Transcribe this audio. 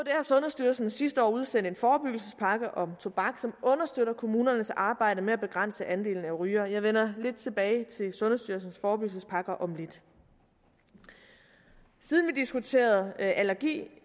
har sundhedsstyrelsen sidste år udsendt en forebyggelsespakke om tobak som understøtter kommunernes arbejde med at begrænse andelen af rygere jeg vender lidt tilbage til sundhedsstyrelsens forebyggelsespakker om lidt siden vi diskuterede allergi